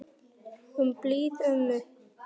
Um blíða ömmu.